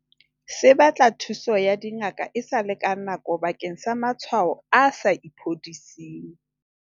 Se Batla thuso ya dingaka esale ka nako bakeng sa matshwao a sa iphodising.